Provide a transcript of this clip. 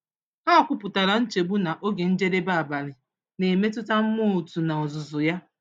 Ha kwupụtara nchegbu na oge njedebe abalị na-emetụta mmụọ otu n’ozuzu ya.